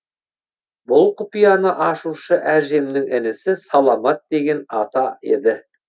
бұл құпияны ашушы әжемнің інісі саламат деген ата еді